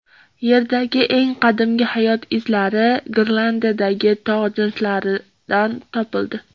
Yerdagi eng qadimgi hayot izlari Grenlandiyadagi tog‘ jinslaridan topildi.